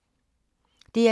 DR2